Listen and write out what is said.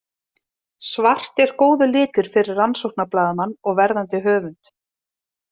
Svart er góður litur fyrir rannsóknarblaðamann og verðandi höfund.